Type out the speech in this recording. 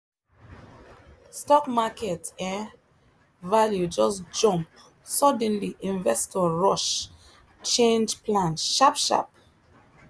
stock market um value just jump suddenly investor rush change plan sharp sharp